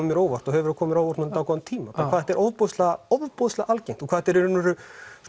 mér á óvart og hefur komið mér á óvart í dágóðan tíma hvað þetta er ofboðslega ofboðslega algengt og hvað þetta er í raun veru